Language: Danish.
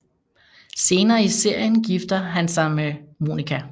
Senere i serien gifter han sig med Monica